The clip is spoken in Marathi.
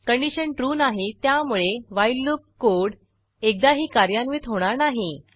कंडिशन ट्रू नाही त्यामुळे व्हाईल लूप कोड एकदाही कार्यान्वित होणार नाही